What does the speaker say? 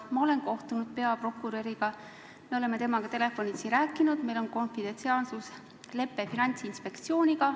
Ma olen kohtunud peaprokuröriga, me oleme temaga telefonitsi rääkinud, meil on konfidentsiaalsuslepe Finantsinspektsiooniga.